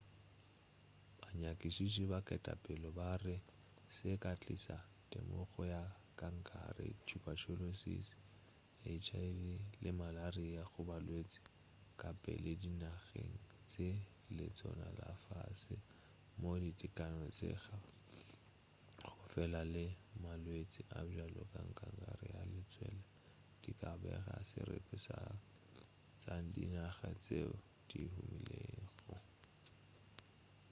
banyakišiši ba ketapele ba re se se ka tliša temogo ya kankere tuberculosis hiv le malaria go balwetši kapela dinageng tša letseno la fase moo ditekano tša go phela tša malwetši a bjalo ka kankere ya letswele di ka bago seripa sa tša dinaga tšeo di humilego